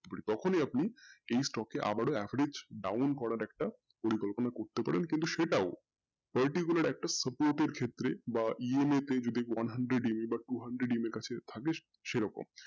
তখনি আপনি আবারো এই stock এ average down করার একটা পরিকল্পনা করতে পারেন কিন্তু সেটাও particular একটা support এর ক্ষেত্রে EM এ বা hundered বা two hundred এর কাছে থাকে সেরকম